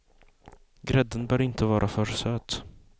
Grädden bör inte vara för söt.